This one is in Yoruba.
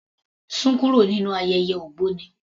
Sún kúrò nínú ayẹyẹ ògbóni.